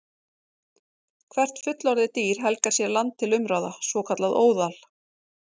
Hvert fullorðið dýr helgar sér land til umráða, svokallað óðal.